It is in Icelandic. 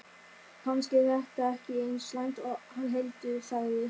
Kannski er þetta ekki eins slæmt og hann heldur, sagði